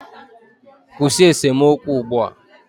Kwụsị esemokwu ugbu a!